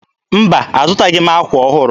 Mba, azụtaghị m ákwà ọhụrụ.